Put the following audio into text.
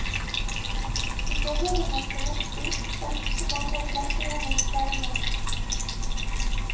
I forvirringen som oppsto valgte mange å klatre gjennom sperringen.